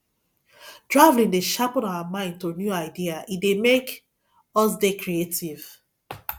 traveling dey sharpen our mind to new idea e dey make us dey creative